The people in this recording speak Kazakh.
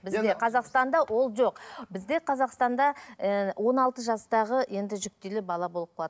бізде қазақстанда ол жоқ бізде қазақстанда ііі он алты жастағы енді жүктілі бала болып қалады